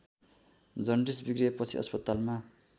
jaundice बिग्रिएपछि अस्पतालमा